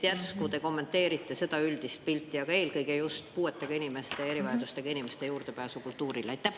Järsku te kommenteerite seda üldist pilti, aga eelkõige just puuetega inimeste, erivajadustega inimeste juurdepääsu kultuurile?